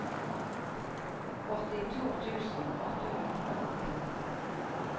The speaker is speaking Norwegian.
åttito tusen åtte hundre og femten